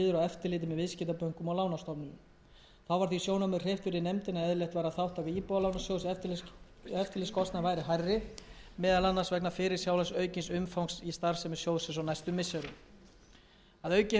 eftirliti með viðskiptabönkum og lánastofnunum þá var því sjónarmiði hreyft fyrir nefndinni að eðlilegt væri að þátttaka íbúðalánasjóðs í eftirlitskostnaði væri hærri meðal annars vegna fyrirsjáanlegs aukins umfangs í starfsemi sjóðsins á næstu missirum að auki hefur fjármálaeftirlitinu frá